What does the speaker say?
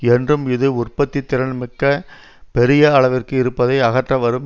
என்றும் இது உற்பத்தி திறன் மிக பெரிய அளவிற்கு இருப்பதை அகற்ற வரும்